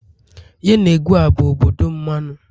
Yenegoa bụ obodo mmanụ.